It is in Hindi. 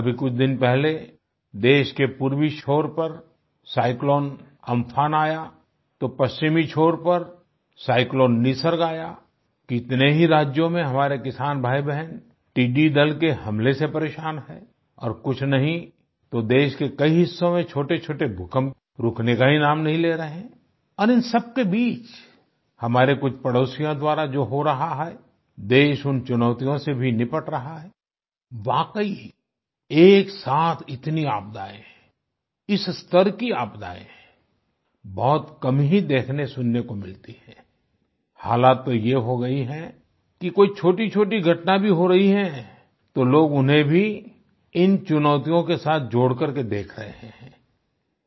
अभी कुछ दिन पहले देश के पूर्वी छोर पर साइक्लोन अम्फान आया तो पश्चिमी छोर पर साइक्लोन निसर्ग आया आई कितने ही राज्यों में हमारे किसान भाईबहन टिड्डी दल के हमले से परेशान हैं और कुछ नहीं तो देश के कई हिस्सों में छोटेछोटे भूकंप रुकने का ही नाम नहीं ले रहे और इन सबके बीच हमारे कुछ पड़ोसियों द्वारा जो हो रहा है देश उन चुनौतियों से भी निपट रहा है आई वाकई एकसाथ इनती आपदाएं इस स्तर की आपदाएं बहुत कम ही देखनेसुनने को मिलती हैं आई हालत तो ये हो गयी है कि कोई छोटीछोटी घटना भी हो रही है तो लोग उन्हें भी इन चुनौतियों के साथ जोड़कर के देख रहें हैं आई